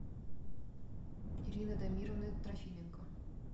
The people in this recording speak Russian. ирина дамировна трофименко